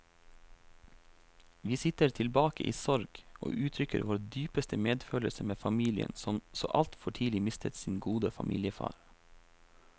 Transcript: Vi sitter tilbake i sorg, og uttrykker vår dypeste medfølelse med familien som så altfor tidlig mistet sin gode familiefar.